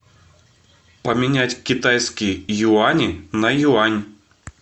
поменять китайские юани на юань